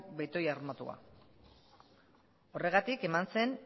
betoi armatua horregatik eman zen